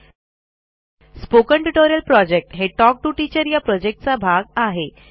spoken tutorial project हे talk to teacher या प्रॉजेक्टचा भाग आहे